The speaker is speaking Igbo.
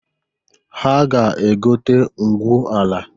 Ha ga-egote ngwu ala.